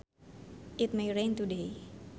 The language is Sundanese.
It may rain today